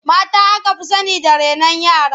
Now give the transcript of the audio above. Mata aka fi sani da renon yara.